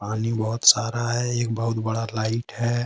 पानी बहुत सारा है एक बहुत बड़ा लाइट है।